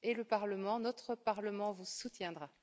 Et le Parlement, notre Parlement, vous soutiendra.